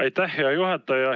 Aitäh, hea juhataja!